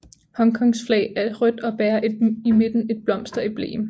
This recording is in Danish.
Hongkongs flag er rødt og bærer i midten et blomsteremblem